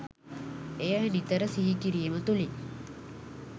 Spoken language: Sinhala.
එය නිතර සිහිකිරීම තුළින්